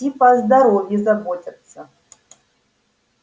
типа о здоровье заботятся